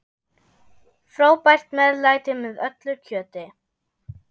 Frábært meðlæti með öllu kjöti.